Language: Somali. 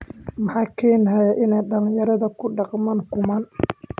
Maxaa keenaya in dhallinyarada ku dhaqmaan kumaan?